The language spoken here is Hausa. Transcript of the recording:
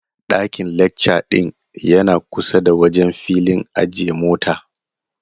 Daiƙn lecca ɗin yana kusa da wajen filin ajiye mota.